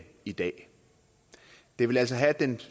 i dag det vil altså have den